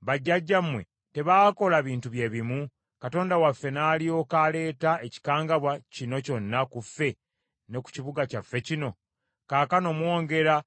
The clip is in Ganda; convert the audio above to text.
Bajjajjammwe tebaakola bintu bye bimu, Katonda waffe n’alyoka aleeta ekikangabwa kino kyonna ku ffe ne ku kibuga kyaffe kino? Kaakano mwongera